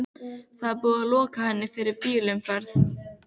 Það er búið að loka henni fyrir bílaumferð!